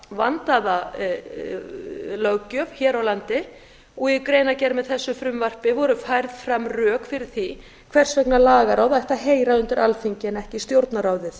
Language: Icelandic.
vandaða löggjöf hér á landi í greinargerð með þessu frumvarpi voru færð fram rök fyrir því hvers vegna lagaráð ætti að heyra undir alþingi en ekki stjórnarráðið